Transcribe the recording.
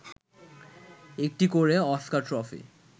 একটি করে Oscar trophy